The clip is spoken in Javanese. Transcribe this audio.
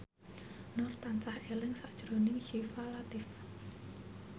Nur tansah eling sakjroning Syifa Latief